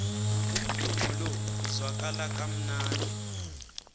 umdumo lo uzwakala kamnandi